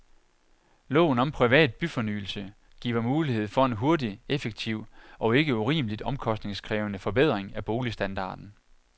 Loven om privat byfornyelse giver mulighed for en hurtig, effektiv og ikke urimeligt omkostningskrævende forbedring af boligstandarden.